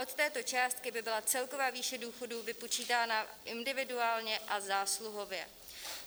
Od této částky by byla celková výše důchodů vypočítána individuálně a zásluhově.